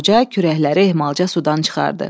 Qoca kürəkləri ehmalca sudan çıxardı.